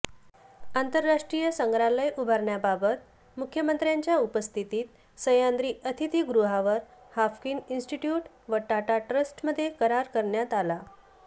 आंतरराष्ट्रीय संग्रहालय उभारण्याबाबत मुख्यमंत्र्यांच्या उपस्थितीत सह्याद्री अतिथीगृहावर हाफकिन इन्स्टिट्यूट व टाटा ट्रस्टमध्ये करार करण्यात आला